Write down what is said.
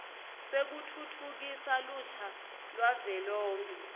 sekutfutfukisa lusha lwavelonkhe